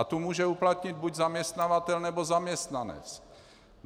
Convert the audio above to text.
A tu může uplatnit buď zaměstnavatel, nebo zaměstnanec.